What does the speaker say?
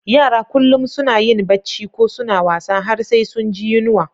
Yara kullum suna yin Bacci ko suna wasa har sai sun ji yunwa.